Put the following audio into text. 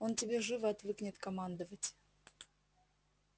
он тебе живо отвыкнет командовать